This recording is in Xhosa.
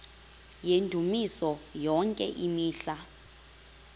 yendumiso yonke imihla